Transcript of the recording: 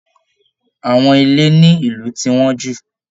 Àwọn ilé ní ìlú ti wọ́n jù